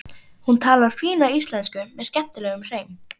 Hún talar fína íslensku með skemmtilegum hreim.